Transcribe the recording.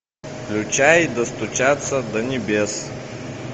включай достучаться до небес